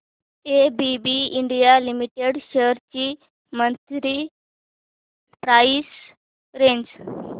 ABB India Limited shares ची monthly price range